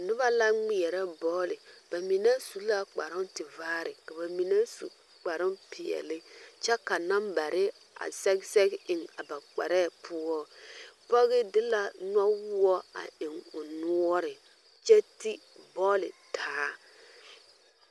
Noba la ŋmeɛrɛ bɔɔli ba mine su la kparoŋtivaare ka ba mine su kparoŋ peɛle kyɛ ka nambare be a sɛge sɛge eŋ a ba kparɛɛ poore pɔge de la nɔwoɔ a eŋ o noɔre kyɛ ti bɔɔli taa.